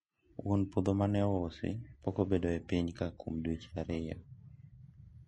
wuon puotho mane ous pok obedo e piny ka kuom dweche ariyo